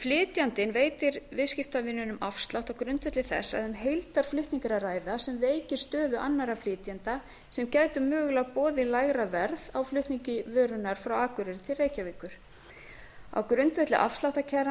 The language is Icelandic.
flytjandinn veitir viðskiptavininum afslátt á grundvelli þess að um heildarflutning er að ræða sem veikir stöðu annarra flytjenda sem gætu mögulega boðið lægra verð á flutningi vörunnar frá akureyri til reykjavíkur á grundvelli